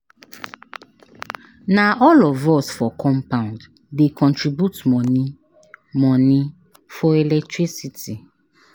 Na all of us for compound dey contribute moni moni for electricity.